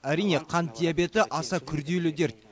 әрине қант диабеті аса күрделі дерт